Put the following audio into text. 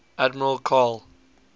admiral karl